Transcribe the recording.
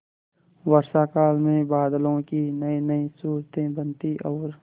वर्षाकाल में बादलों की नयीनयी सूरतें बनती और